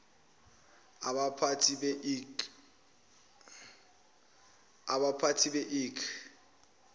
abaphathi be ik